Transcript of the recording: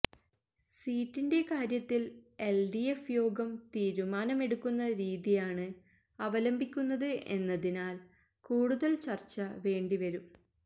സീറ്റിന്റെ കാര്യത്തിൽ എൽഡിഎഫ് യോഗം തീരുമാനമെടുക്കുന്ന രീതിയാണ് അവലംബിക്കുന്നത് എന്നതിനാൽ കൂടുതൽ ചർച്ച വേണ്ടിവരും